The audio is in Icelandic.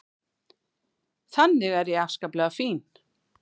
Þannig er ég afskaplega fín.